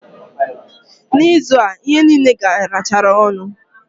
Na ịzụ a, ihe niile garachara ọnụ